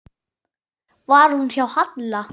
Var hún hjá Halla?